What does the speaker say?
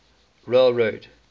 railroad